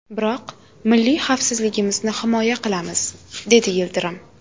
Biroq milliy xavfsizligimizni himoya qilamiz” dedi Yildirim.